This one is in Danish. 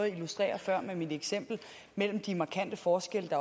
illustrere før med mit eksempel med de markante forskelle